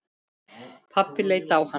Pabbi leit á hann.